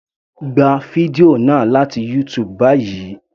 Gba fídíò náà láti YouTube báyìí.